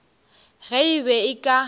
ge e be e ka